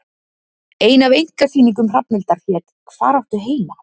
Ein af einkasýningum Hrafnhildar hét Hvar áttu heima?